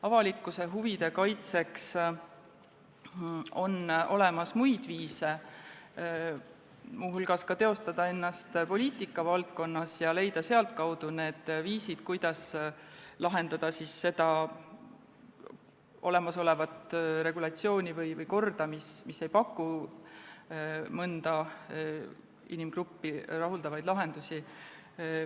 Avalikkuse huvide kaitseks on olemas muid viise, muu hulgas saab teostada ennast poliitikavaldkonnas ja leida sealtkaudu need viisid, kuidas parandada olemasolevat regulatsiooni või korda, mis ei paku mõnele inimgrupile rahuldavaid lahendusi.